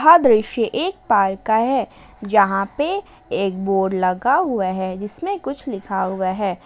यह दृश्य एक पार्क का है जहां पर एक बोर्ड लगा हुआ है जिसमें कुछ लिखा हुआ है।